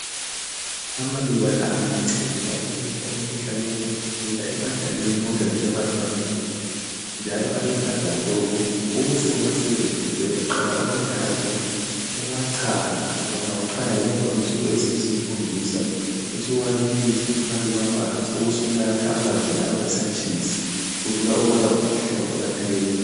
Amaluba la ayanceda ukwelapha umkhuhlane wokukhwehlela ebadaleni konke lasebantwaneni njalo aluhlaza tshoko. Ukuze uwasebenzise uyaqala uwathathe uwachaye, ungawachaya ngemva kwensuku eziyisikhombisa ubusuwabilisa phakathi kwamanzi, ubusunatha amanzi lawo esatshisa. Kubikwa ukubana umkhuhlane uyaphela.